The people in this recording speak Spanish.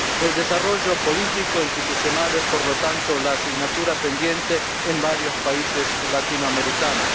El desarrollo político e institucional es, por lo tanto, la asignatura pendiente en varios países latinoamericanos.